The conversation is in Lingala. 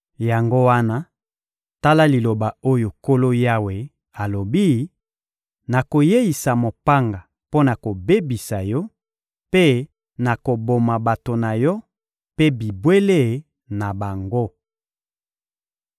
Yango wana, tala liloba oyo Nkolo Yawe alobi: Nakoyeisa mopanga mpo na kobebisa yo, mpe nakoboma bato na yo mpe bibwele na bango.